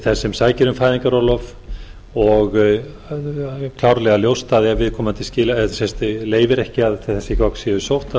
þess sem sækir um fæðingarorlof og klárlega ljóst að ef viðkomandi leyfir ekki að þessi gögn séu sótt að